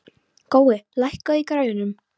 Gói, lækkaðu í græjunum.